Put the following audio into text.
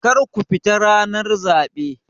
Kar ku fita ranar zaɓe!